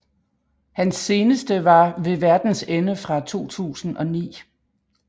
Hans seneste var Ved Verdens Ende fra 2009